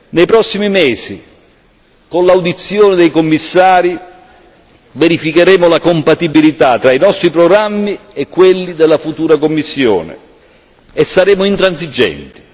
Nei prossimi mesi, con l'audizione dei Commissari, verificheremo la compatibilità tra i nostri programmi e quelli della futura Commissione e saremo intransigenti.